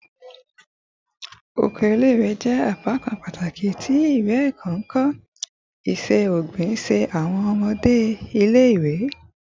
Oko ile-iwe jẹ apakan pataki ti iwe-ẹkọ, nkọ iṣẹ-ogbin si awọn ọmọ ile-iwe